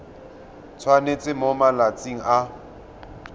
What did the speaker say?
tshwanetse gore mo malatsing a